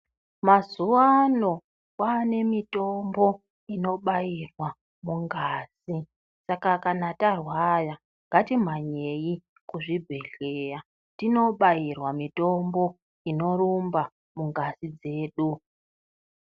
Mazuvano kwaanemitombo inobairwa mungazi. Saka kana tarwara ngatimhanyei kuzvibhehleya tinobairwa mitombo inorumba mungazi dzedu.